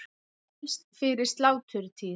Helst fyrir sláturtíð.